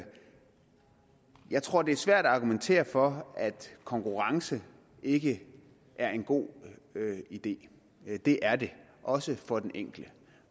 jeg tror det er svært at argumentere for at konkurrence ikke er en god idé det er det også for den enkelte